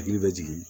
Hakili bɛ jigin